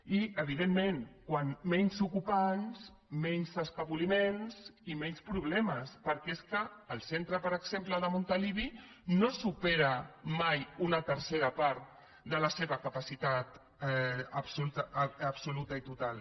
i evidentment com menys ocupants menys escapoliments i menys problemes perquè és que el cen tre per exemple de montilivi no supera mai una tercera part de la seva capacitat absoluta i total